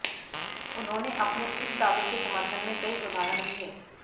उन्होंने अपने इस दावे के समर्थन में कई उदाहरण दिए